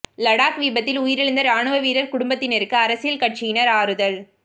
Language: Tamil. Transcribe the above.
லடாக் விபத்தில் உயிரிழந்த ராணுவ வீரா் குடும்பத்தினருக்கு அரசியல் கட்சியினா் ஆறுதல்